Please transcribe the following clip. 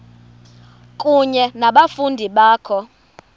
kunye nabafundi bakho